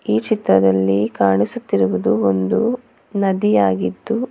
ಈ ಚಿತ್ರದಲ್ಲಿ ಕಾಣಿಸುತ್ತಿರುವುದು ಒಂದು ನದಿಯಾಗಿದ್ದು--